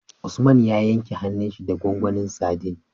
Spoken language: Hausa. Usman ya yanke hanun shi da gwangwanin sadin